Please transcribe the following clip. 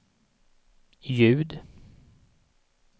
ljud